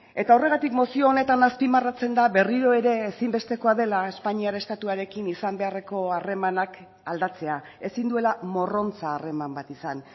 eta horregatik mozio honetan azpimarratzen da berriro ere ezinbestekoa dela espainiar estatuarekin izan beharreko harremanak aldatzea ezin duela morrontza harreman bat izan